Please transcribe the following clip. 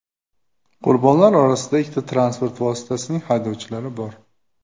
Qurbonlar orasida ikki transport vositasining haydovchilari bor.